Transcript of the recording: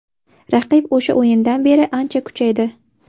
Raqib o‘sha o‘yindan beri ancha kuchaydi.